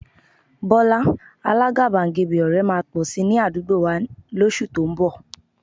Bọ́lá, alágàbàgebè ọ̀rẹ́ máa pọ̀ si ní àdúgbò wà lóṣù tó ń bọ̀